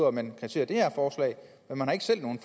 at man kasserer det her forslag men man har ikke selv nogen